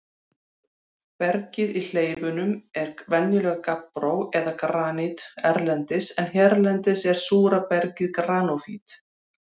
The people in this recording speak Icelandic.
Bergið í hleifunum er venjulega gabbró eða granít erlendis en hérlendis er súra bergið granófýr.